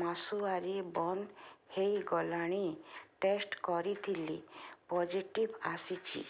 ମାସୁଆରି ବନ୍ଦ ହେଇଗଲାଣି ଟେଷ୍ଟ କରିଥିଲି ପୋଜିଟିଭ ଆସିଛି